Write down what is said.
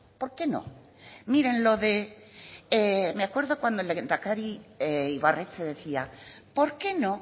por qué no miren lo de me acuerdo cuando el lehendakari ibarretxe decía por qué no